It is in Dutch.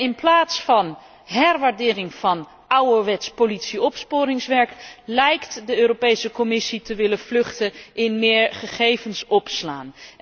In plaats van herwaardering van ouderwets politie opsporingswerk, lijkt de Europese Commissie te willen vluchten in meer gegevens opslaan.